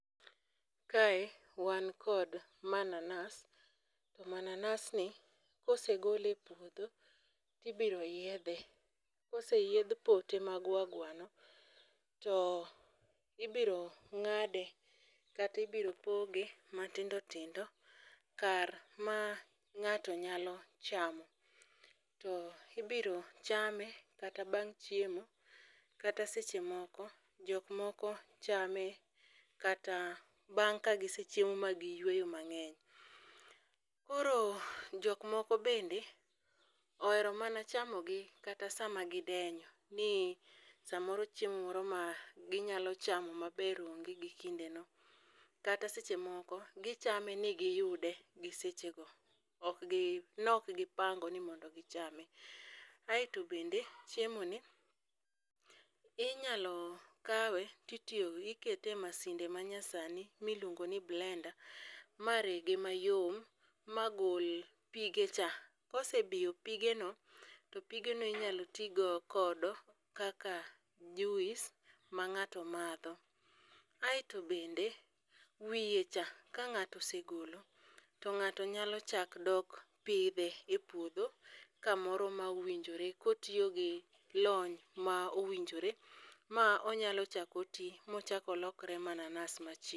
Kae wan kod mananas. Mananasni kosegole e puodho tibiro yiedhe. Koseyiedh pote magwar gwar no to ibiro ng'ade kata ibiro poge matindo tindo kar ma ng'ato nyalo chamo. To ibiro chame kata bang' chiemo. Kata seche moko jok moko chame kata bang' ka gisechiemo ba giyweyo mang'eny. Koro jok moko bende ohero mana chamo gi kata sama gidenyo. Ni samoro chiemo moro ma ginyalo chamo maber onge gi kinde no. Kata seche moko gichame ni giyude gi sechego. Ok gi, nokgi pango ni mondo gichame. Aeto bende chiemo ni inyalo kawe, titiyo, ikete e masinde ma nyasani miluongo ni blender marege mayom ma gol pige cha. Kosebiyo pige no, to pige no inyalo ti go kodo kaka juice ma ng'ato madho. Aeto bende wiye cha ka ng'ato osegolo. to ng'ato nyalo chak dok pidhe e puodho kamoro ma owinjore kotiyo gi lony ma owinjore. Ma onyalo chak oti mochak olokore mananas machielo.